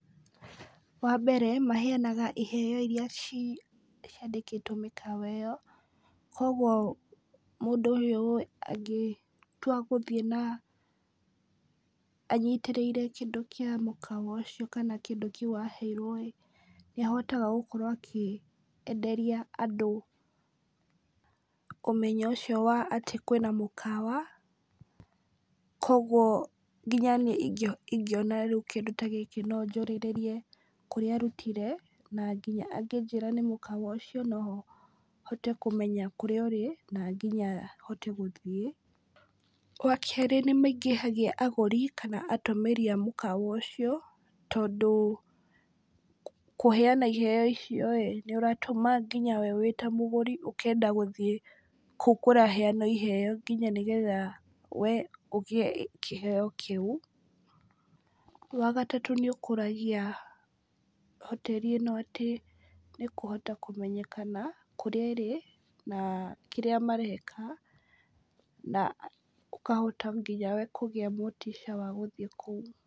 Wa mbere, maheanaga iheo iria ci ciandĩkĩtwo mĩkawa ĩyo, kũgwo mũndũ ũyũ angĩtua gũthiĩ na, anyitĩrĩire kĩndũ kĩa mũkawa ũcio , kana kĩndũ kĩu aheirwo ĩ, nĩ ahotaga gũkorwo akĩenderia andũ, ũmenyo ũcio wa atĩ kwĩna mũkawa, kũgwo nginya niĩ ingĩona rĩu kĩndũ ta gĩkĩ no njũrĩrĩrie kũrĩa arutire , na nginya angĩnjĩra nĩ mũkawa ũcio , nohote kũmenya kũrĩa ũrĩ na nginya hote gũthiĩ , wa kerĩ nĩmaingĩhagia arũgi kana atũmĩri a mũkawa ũcio, tondũ kũheana iheo icio ĩ , nĩ ũratũma nginya we wĩta mũgũri ũkenda gũthiĩ kũu kũraheanwo iheo, nginya nĩgetha we ũgĩe kĩheo kĩu, wa gatatũ, nĩ ũkũragia hoteri ĩno atĩ , nĩkũhota kũmenyakana kũrĩa ĩrĩ, na kĩrĩa mareka , na ũkahota nginya we kũgĩa motica wa gũthiĩ kũu.